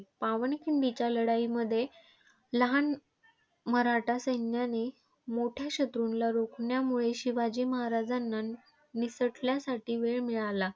पावनखिंडीच्या लढाईमध्ये लहान मराठा सैन्याने मोठ्या शत्रूला रोखल्यामुळे शिवाजी महाराजांना निसटण्यासाठी वेळ मिळाला.